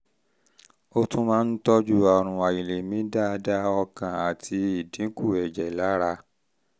ó tún máa ń tọ́jú àrùn àìlèmí dáadáa ọkàn àti ìdínkù ẹ̀jẹ̀ lára